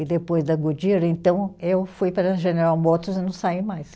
E depois da Goodyear, então, eu fui para a General Motors e não saí mais.